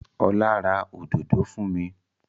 Ọlá ra òdòdó fún mi.